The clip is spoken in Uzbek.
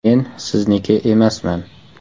Men sizniki emasman!